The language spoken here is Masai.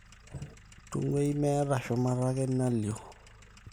tunguai meeta shumata ake nalio